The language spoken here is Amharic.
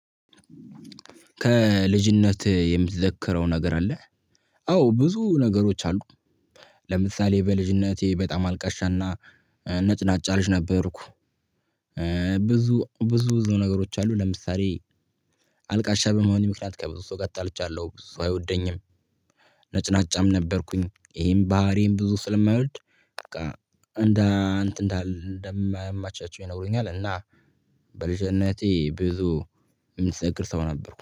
ከልጅነት የምትዘክረው ነገር አለ? አዎ ብዙ ነገሮች አሉ። ለምሳሌ በልጅነቴ በጣም አልቃሻ እና ነጭናጫ ልጅ ነበርኩ። ብዙ ብዙ ብዙ ነገሮች አሉ ለምሳሌ። አልቃሻ በመሆኔ ምክንያት ከብዙ ሰው ጋር ተጣልቻለሁ ሰው አይወደኝም። ነጭናጫም ነበርኩኝ ይሄን ባህሪዬን ብዙ ስለማይወድ። በቃ እንደ እንትን እንደ እንደማያመቻቸው ይነግሩኛል። እና በልጅነቴ ብዙ የምትዘክር ሰው ነበርኩ